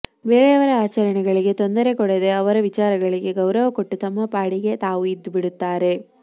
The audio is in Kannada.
ಬೇರೆಯವರ ಆಚರಣೆಗಳಿಗೆ ತೊಂದರೆ ಕೊಡದೆ ಅವರ ವಿಚಾರಗಳಿಗೆ ಗೌರವ ಕೊಟ್ಟು ತಮ್ಮ ಪಾಡಿಗೆ ತಾವು ಇದ್ದು ಬಿಡುತ್ತಾರೆ